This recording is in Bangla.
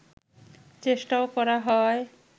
চেষ্টাও করা হয়